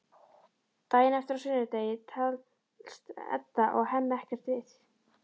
Daginn eftir, á sunnudegi, talast Edda og Hemmi ekkert við.